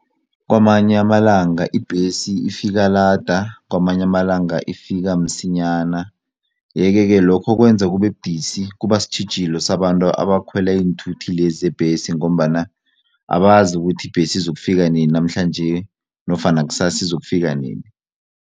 Kwamanye amalanga ibhesi ifika lada kwamanye amalanga ifika msinyana yeke-ke lokho kwenza kubebudisi kubasitjhijilo sabantu abakhwela iinthuthi lezi zebhesi ngombana abazi ukuthi ibhesi izokufika nini namhlanje nofana kusasa izokufika nini.